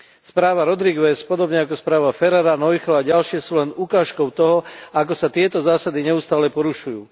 Správa Rodrigues, podobne ako správa Ferrara, Noichl a ďalšie, je len ukážkou toho, ako sa tieto zásady neustále porušujú.